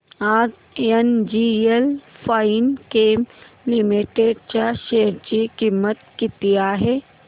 आज NGL Finechem limited च्या share ची किंमत किती आहे